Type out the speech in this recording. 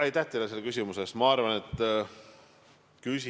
Aitäh teile selle küsimuse eest!